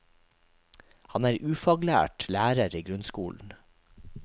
Han er ufaglært lærer i grunnskolen.